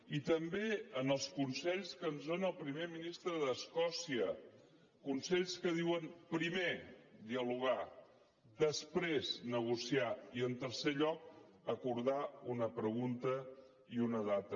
i també en els consells que ens dóna el primer ministre d’escòcia consells que diuen primer dialogar després negociar i en tercer lloc acordar una pregunta i una data